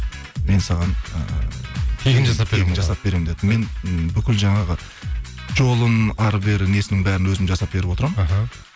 мен саған ы тегін жасап беремін тегін жасап беремін деді мен бүкіл жаңағы жолын әрі бері несінің бәрін өзім жасап беріп отырамын іхі